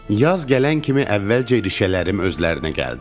Yaz gələn kimi əvvəlcə irişələrim özlərinə gəldi.